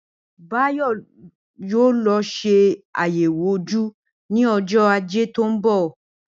Báyò̩ yóò lo̩ s̩e àyè̩wò ojú ní o̩jó̩ Ajé tó ń bò̩